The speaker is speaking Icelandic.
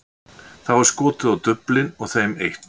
Þá er skotið á duflin og þeim eytt.